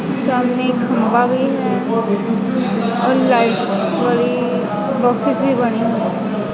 सामने खंभा भी है और लाइट भरी बॉक्सेस भी पड़ी हुई हैं।